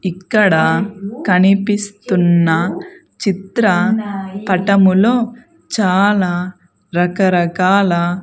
ఇక్కడ కనిపిస్తున్న చిత్ర పటములో చాలా రకరకాల.